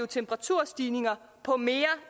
temperaturstigninger på mere